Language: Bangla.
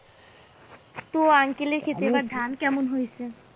তো uncle এর ক্ষেতে এবার ধান কেমন হয়েছে?